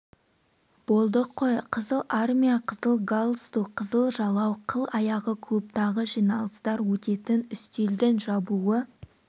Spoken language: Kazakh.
болдық қой қызыл армия қызыл галстук қызыл жалау қыл аяғы клубтағы жиналыстар өтетін үстелдің жабуы